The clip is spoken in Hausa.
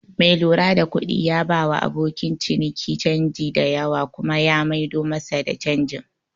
Mai lura da kuɗi ya bawa abokin ciniki canji da yawa kuma ya mai do masa da canjin